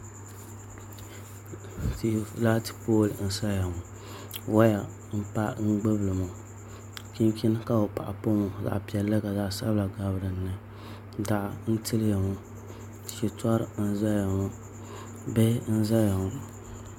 Laati pool n saya ŋɔ woya n gbubili ŋɔ chinchin ka bi paɣa pa ŋɔ zaɣ piɛlli ka zaɣ sabila gabi dinni daɣu n tiliya ŋɔ shitɔri n ʒɛya ŋɔ bihi n ʒɛya ŋɔ